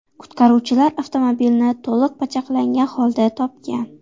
Qutqaruvchilar avtomobilni to‘liq pachaqlangan holda topgan.